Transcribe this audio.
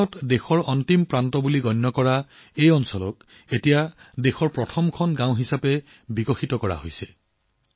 এসময়ত দেশৰ শেষ মূৰ বুলি গণ্য কৰা অঞ্চলবোৰ এতিয়া দেশৰ প্ৰথম গাঁও বুলি গণ্য কৰি উন্নয়ন কৰা হৈছে